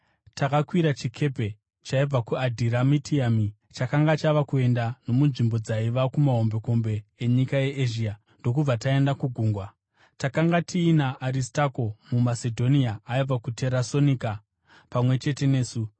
Takakwira chikepe chaibva kuAdhiramitiami chakanga chava kuenda nomunzvimbo dzaiva kumahombekombe enyika yeEzhia, ndokubva taenda kugungwa. Takanga tiina Aristakusi, muMasedhonia aibva kuTesaronika, pamwe chete nesu.